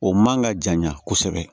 O man ka janya kosɛbɛ